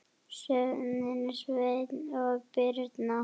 Sjöfn, Sveinn og Birna.